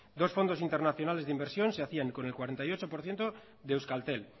dos fondos internacionales de inversión se hacían con el cuarenta y ocho por ciento de euskaltel